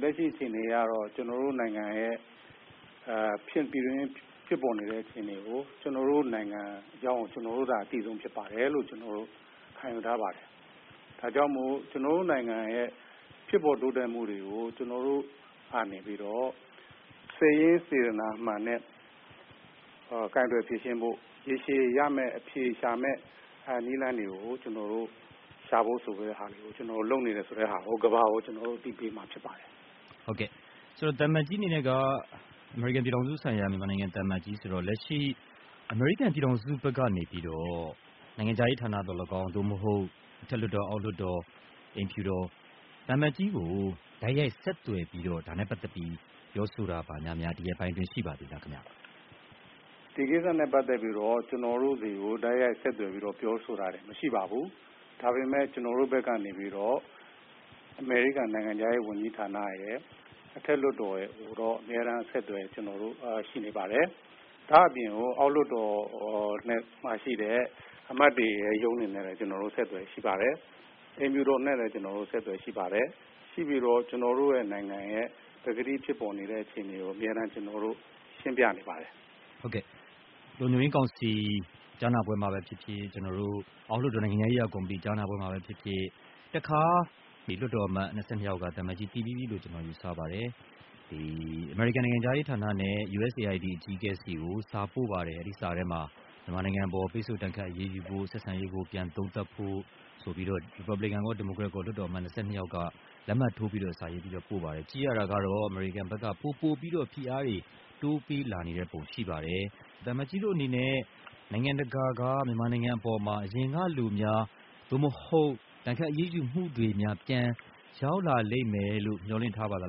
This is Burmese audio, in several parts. လက်ရှိအခြေအနေကတော့ ကျနော်တို့နိုင်ငံ ရဲ့ပြည်တွင်း မှာဖြစ်ပေါ်နေတဲ့အခြေအနေကို ကျနော်တို့နိုင်ငံအကြောင်းကို ကျနော်တို့သာ အသိဆုံးဖြစ်ပါတယ်လို့ ခံယူထားပါတယ်။ ဒါကြောင့်မို့ ကျနော်တို့နိုင်ငံ ရဲ့ဖြစ်ပေါ် တိုးတက်မှုတွေကို ကျနော်တို့ကနေပြီးတော့ စိတ်ရင်းစေတနာမှန်နဲ့ ကိုင်တွယ်ဖြေရှင်းဖို့ ရေရှည်ရမယ့် အဖြေရှာမယ့်နည်းလမ်းတွေကို ကျနော်တို့ရှာဖို့လုပ်နေတယ်ဆိုတဲ့ဟာကို ကမ္ဘာကို ကျနော်တို့ အသိပေးမှာဖြစ်ပါတယ်။ ဟုတ်ကဲ့ သံအမတ်ကြီးအနေနဲ့က အမေရိကန်ပြည်ထောင်စု ဆိုင်ရာ အမေရိကန်သံအမတ်ကြီးဆိုတော့ လက်ရှိ အမေရိကန်ပြည်ထောင်စု ဘက်ကနေပြီးတော့ နိုင်ငံခြားရေးဌာနသော်လည်းကောင်း သို့မဟုတ် အထက်လွှတ်တော် ၊ အောက်လွှတ်တော် အိမ်ဖြူတော် သံအမတ်ကြီးကို တိုက်ရိုက်ဆက်သွယ်ပြီးတော့ ဒါနဲ့ပတ်သက်ပြီးတော့ ဆက်သွယ်ပြီး ပြောဆိုတာများရှိပါသလားခင်ဗျ။ ဒီကိစ္စနဲ့ပတ်သက်ပြီးတော့ ကျနော်တို့တွေကိ တိုက်ရိုက် ဆက်သွယ်ပြီးတော့ ပြောဆိုတာတွေ မရှိပါဘူး ဒါပေမဲ့ ကျနော်တို့ဘက် ကနေပြီးတော့ အမေရိကန်နိုင်ငံခြားရေးဝန်ကြီးဌာနရယ် အထက်လွှတ်တော်ရယ်ကိုတော့ အမြဲတမ်းအဆက်အသွယ် ကျနော်တို့ရှိနေပါတယ် ဒါ့အပြင်ကို အောက်လွှတ်တော်က အမတ်တွေရဲ့ရုံးတွေနဲ့လည်း ကျနော်တို့ အမြဲအဆက်အသွယ်ရှိပါတယ်။ အိမ်ဖြူတော်နဲ့ လည်း ကျနော်တို့အဆက်သွယ်ရှိပါတယ်။ ရှိပြီးတော့ ကျနော်တို့နိုင်ငံရဲ့ ပကတိဖြစ်ပေါ်နေတဲ့ အခြေအနေကို အမြဲတမ်းရှင်းပြနေပါတယ်။ ဟုတ်ကဲ့ လုံခြုံရေးကောင်စီ ကြားနာပွဲမှာပဲဖြစ်ဖြစ် အောက်လွှတ်တော် နိုင်ငံခြားရေးရာ ကော်မတီ ကြားနာပွဲမှာပဲဖြစ်ဖြစ် တခါ လွှတ်တော်အမတ် ၂၂ယောက်က သံအမတ်ကြီး သိပြီးပြီလို့ယူဆပါတယ်။ အမေရိကန်နိုင်ငံခြားရေးဌာနနဲ့ USAID အကြီးအကဲဆီကို စာပို့ပါတယ်။ အဲ့ဒီ့စာထဲမှာ မြန်မာနိုင်ငံအပေါ် ပိတ်ဆို့ဒဏ်ခတ်အရေးယူဖို့၊ ဆက်ဆံရေးကို ပြန်သုံးသပ်ဖို့ ရီပတ်ဗလင်ကန်ရော ဒီမိုကရက်လွှတ်တော်အမတ် ၂၂ယောက်က လက်မှတ်ထိုးပြီးတော့ ပို့ပါတယ် ကြည့်ရတာကတော့ အမေရိကန်ဘက်က ပိုပိုပြီးတော့ ဖိအားတွေ တိုးပေးလာနေတဲ့ပုံရှိပါတယ် သံအမတ်ကြီးတို့အနေနဲ့ နိုင်ငံတကာက မြန်မာနိုင်ငံ အပေါ်မှာ အရင်ကလိုများ သို့မဟုတ် ဒဏ်ခတ်အရေးယူမှုတွေများ ပြန်ရောက် လာလိမ့်မယ်လို့ မျှော်လင့်ထားပါသ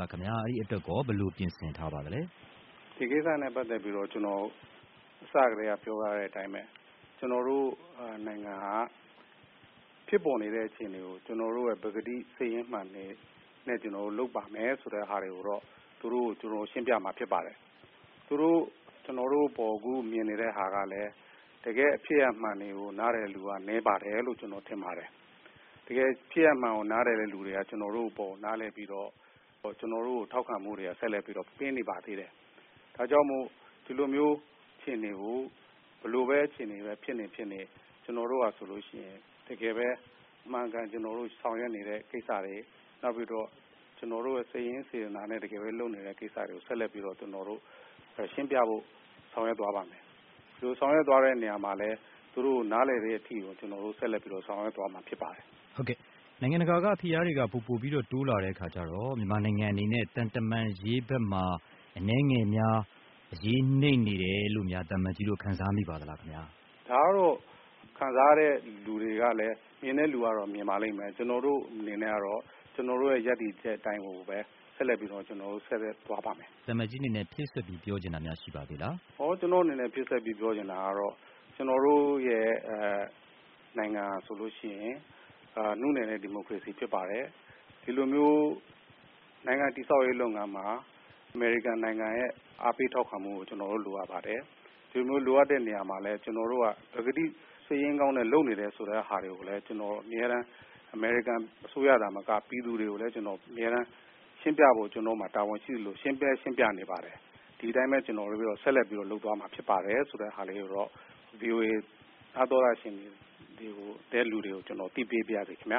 လားခင်ဗျာ။ အဲ့ဒီ့အတွက်ရော ဘယ်လိုပြင်ဆင် ထားပါသလဲ။ ဒီကိစ္စနဲ့ပတ်သက်ပြီးတော့ ကျနော် အစကတည်းက ပြောထားတဲ့အတိုင်းပဲ ကျနော်တို့နိုင်ငံက ဖြစ်ပေါ်နေတဲ့အခြေအနေကို ကျနော်တို့ ပကတိ စိတ်ရင်းမှန်တွေနဲ့လုပ်ပါတယ်ဆိုတာကိုတော့ သူတို့ကို ကျနော်တို့ ရှင်းပြမှာဖြစ်ပါတယ်။ သူတို့အခု ကျနော်တို့အပေါ်ကို မြင်နေတဲ့ဟာကလည်း တကယ့်ဖြစ်ရပ်မှန်ကို နားလည်တဲ့သူက နည်းပါတယ်လို့ ကျနော်ထင်ပါတယ်။ တကယ်ဖြစ်ရပ်မှန်ကို နားလည်တဲ့သူက ကျနော်တို့အပေါ်ကို နားလည်ပြီးတော့ ကျနော်တို့အပေါ် ထောက်ခံမှုတွေ ကို ဆက်လက်ပြီး ပေးနေပါသေးတယ်။ ဒါကြောင့်မို့ ဒီလိုမျိုး အခြေအနေ ကို ဘယ်လိုပဲအခြေအနေပဲဖြစ်နေဖြစ်နေ ကျနော်တို့ဟာဆိုလို့ရှိရင် တကယ်ပဲ အမှန်အကန် ကျနော်တို့ဆောင်ရွက်နေတဲ့ကိစ္စတွေ နောက်ပြီးတော့ ကျနော်တို့ တကယ်ပဲ စိတ်ရင်းစေတနာနဲ့လုပ်နေတဲ့ကိစ္စတွေကို ဆက်လက်ပြီးတော့ ကျနော်တို့ရှင်းပြဖို့ ဆောင်ရွက်သွားပါ့မယ်။ ဒီလိုဆောင်ရွက်သွားတဲ့အခါမှာလည်း သူတို့ကို နားလည်တဲ့အထိကို ကျနော်တို့ဆက်လက်ပြီးတော့ ဆောင်ရွက်သွားမှာ ဖြစ်ပါတယ်။ ဟုတ်ကဲ့ နိုင်ငံတကာက ဖိအားတွေက ပိုပိုပြီးတော့ တိုးလာတဲ့အခါကျတော့ မြန်မာနိုင်ငံအနေနဲ့ သံတမန်ရေးဘက်မှာ အနည်းငယ်များ အရေးနိမ့်နေတယ်လို့များ သံအမတ်ကြီးတို့ ခံစားမိပါသလား။ ဒါကတော့ ခံစားနေတဲ့သူတွေကတော့ မြင်တဲ့သူကတော့ မြင်ပါလိမ့်မယ်။ ကျနော်တို့အနေနဲ့ကတော့ ကျနော်တို့ရဲ့ ရပ်တည်ချက်အတိုင်းကိုပဲ ဆက်လက်ပြီးတော့ ကျနော်တို့သွားပါ့မယ်။ သံအမတ်ကြီးအနေနဲ့ ဖြည့်စွက်ပြီးတော့ ပြောချင်တာများရှိပါသေးသလား။ ကျနော့်အနေနဲ့ ဖြည့်စွက်ပြီး ပြောချင်တာကတော့ ကျနော်တို့ရဲ့ နိုင်ငံဟာဆိုလို့ရှိရင် နုနယ်တဲ့ ဒီမိုကရေစီဖြစ်ပါတယ်။ ဒီလိုမျိုး နိုင်ငံ တည်ဆောက်ရေးလုပ်ငန်းမှာ အမေရိကန်နိုင်ငံရဲ့ အားပေးထောက်ခံမှုကို ကျနော်တို့လိုအပ်ပါတယ်။ ဒီလိုလိုအပ်တဲ့နေရာမှာလည်း ပကတိစိတ်ရင်းကောင်း နဲ့လုပ်နေတယ် ဆိုတဲ့ဟာတွေကိုလည်း ကျနော် အမြဲတမ်း အမေရိကန်အစိုးရသာမက ပြည်သူတွေကိုလည်း ရှင်းပြဖို့ ကျနော့်မှာ တာဝန်ရှိသလို ရှင်းလည်းရှင်းပြနေပါတယ်။ ဒီအတိုင်းပဲ ကျနော်ဆက်လက်ပြီးတော့ လုပ်သွားမှာဖြစ်ပါတယ်ဆိုတဲ့ဟာလေးကိုတော့ ဗွီအိုအေ နားသောတရှင်တွေကို ကျနော် အသိပေးပါရစေခင်ဗျာ